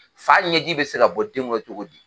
Fa ɲɛji be se ka bɔ den kɔrɔ cogo di?